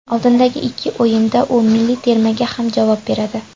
Oldindagi ikki o‘yinda u milliy termaga ham javob beradi.